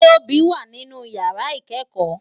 Tobi wá ninú iyàrá ikèékò